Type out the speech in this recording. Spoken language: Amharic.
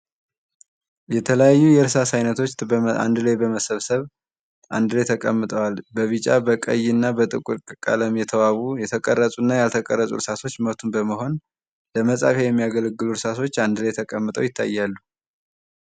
የተለያዩ የእርሳስ አይነቶች አንድ ላይ በመሰብሰብ አንድ ላይ ተቀምተዋል። በቢጫ በቀይ እና በጥቁር ቀለም የተዋቡ የተቀረጹ እና ያልተቀረጹ እርሳሶች መቱን በመሆን ለመጻፊያ የሚያገለግሉ እርሳሶች አንድ ላይ ተቀምጠው ይታያሉ።